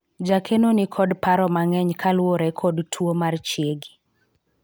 jakeno nikod paro mang'eny kaluwore kod tuo mar chiegi